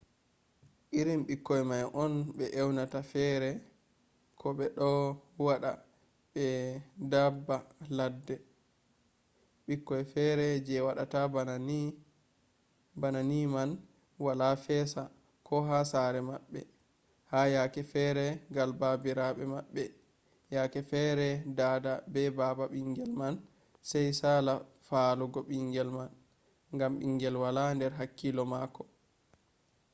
irin ɓikkoy man on ɓe ewnata fere” ko ɓe ɗo waɗa ba daabba ladde. ɓikkoy feere je waɗata bana ni man wala fesa ko ha sare maɓɓe ha yakke feere gal baabiraɓe maɓɓe; yake fere dada be baba ɓingel man sai sala faalugo ɓingel ma ngam ɓingel wala nder hakkilo mako